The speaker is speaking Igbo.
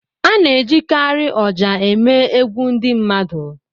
A na-ejikarị ọjà eme egwu ndị mmadụ.